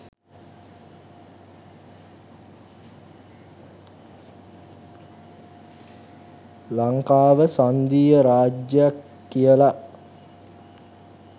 ලංකාව සංධීය රාජ්‍යයක් කියල.